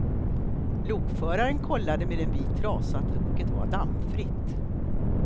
Lokföraren kollade med en vit trasa att loket var dammfritt.